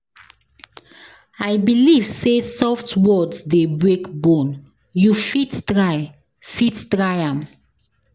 I believe sey soft words dey break bone, you fit try am.